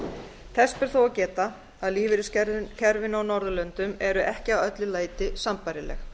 þess ber þó að geta að lífeyriskerfin á norðurlöndum eru ekki að öllu leyti sambærileg